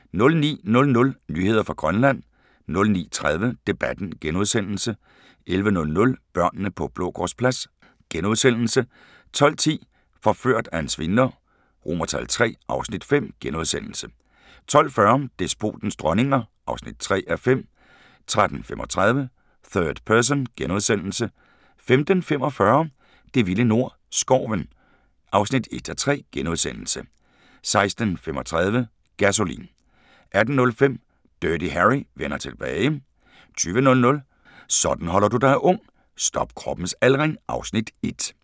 09:00: Nyheder fra Grønland 09:30: Debatten * 11:00: Børnene på Blågårdsplads * 12:10: Forført af en svindler III (Afs. 5)* 12:40: Despoternes dronninger (3:5) 13:35: Third Person * 15:45: Det vilde nord - Skoven (1:3)* 16:35: Gasolin' 18:05: Dirty Harry vender tilbage 20:00: Sådan holder du dig ung: Stop kroppens aldring (Afs. 1)